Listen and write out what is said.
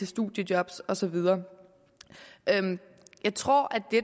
studiejob og så videre jeg tror at det